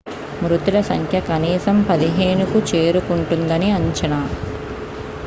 మృతుల సంఖ్య కనీసం 15కు చేరుకుంటుందని అంచనా